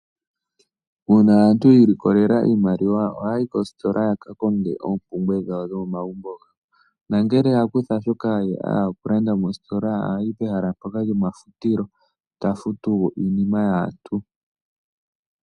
Uuna aantu yi ilikolela iimaliwa ohaya yi koositola yaka konge oompumbwe dhawo dhomomagumbo, nongele ya kutha shoka ya hala oku landa mositola, ohayi pehala mpoka lyomafutilo, e ta futu iinima yaantu.